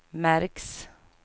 märks